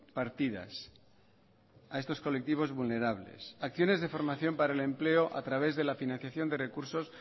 partidas a estos colectivos vulnerables acciones de formación para el empleo a través de la financiación de recursos